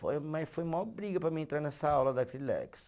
Foi, mas foi maior briga para mim entrar nessa aula da Acrilex.